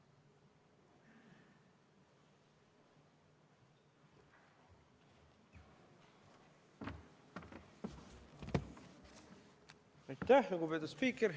Aitäh, lugupeetud spiiker!